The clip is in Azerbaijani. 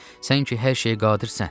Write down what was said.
Sən ki, hər şeyə qadirsən.